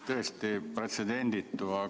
Tõesti pretsedenditu!